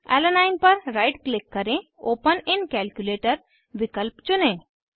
alanine alanine पर right click करें open in calculator विकल्प चुनें